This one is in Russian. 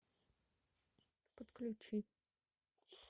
подключи